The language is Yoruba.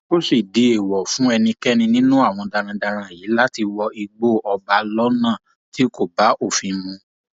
ó sì di èèwọ fún ẹnikẹni nínú àwọn darandaran yìí láti wọ igbó ọba lọnà tí kò bá òfin mu